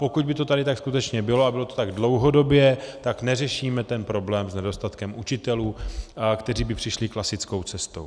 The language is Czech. Pokud by to tady tak skutečně bylo a bylo to tak dlouhodobě, tak neřešíme ten problém s nedostatkem učitelů, kteří by přišli klasickou cestou.